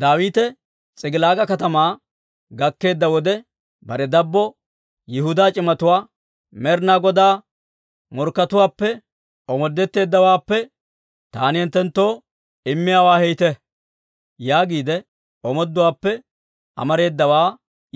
Daawite S'ik'ilaaga katamaa gakkeedda wode, bare dabbo Yihudaa c'imatuwaa, «Med'inaa Godaa morkkatuwaappe omoodetteeddawaappe taani hinttenttoo immiyaawaa heytte» yaagiide omooduwaappe amareedawaa